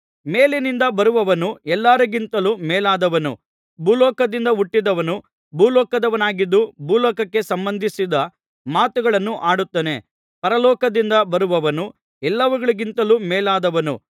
ಮೇಲಿನಿಂದ ಬರುವವನು ಎಲ್ಲರಿಗಿಂತಲೂ ಮೇಲಾದವನು ಭೂಲೋಕದಿಂದ ಹುಟ್ಟಿದವನು ಭೂಲೋಕದವನಾಗಿದ್ದು ಭೂಲೋಕಕ್ಕೆ ಸಂಬಂಧಿಸಿದ ಮಾತುಗಳನ್ನು ಆಡುತ್ತಾನೆ ಪರಲೋಕದಿಂದ ಬರುವವನು ಎಲ್ಲವುಗಳಿಗಿಂತಲೂ ಮೇಲಾದವನು